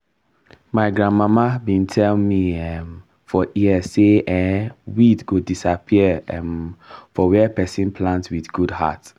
my grandmama be tell me um for ear say um weed go disappear um for where person plant wit good heart